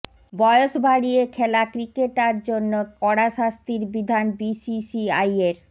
বয়স ভাঁড়িয়ে খেলা ক্রিকেটার জন্য কড়া শাস্তির বিধান বিসিসিআইয়ের